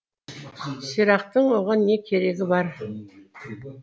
сирақтың оған не керегі бар